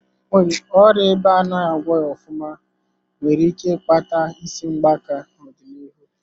Ọrịa ịba anaghị agwọghị ofụma nwere ike ịkpata isi gbaka n'ọdịnihu.